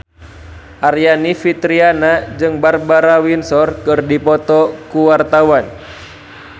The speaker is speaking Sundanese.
Aryani Fitriana jeung Barbara Windsor keur dipoto ku wartawan